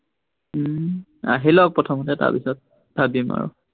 উম আহি লওক প্ৰথমতে, তাৰপিছত ভাবিম আৰু।